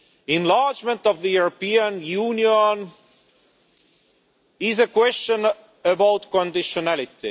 Enlargement of the European Union is a question of conditionality.